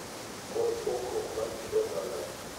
Kod pogruok mar kit oganda.